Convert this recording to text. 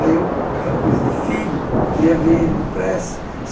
Aí eu, aquela coisa de filho, queria ver ele depressa.